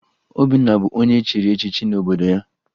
Obinna bụ onye echiri echichi n'obodo ya